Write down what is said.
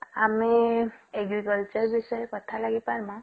ଆମେ agriculture ବିଷୟରେ କଥା ଲାଗି ପାରମା?